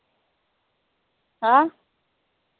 अं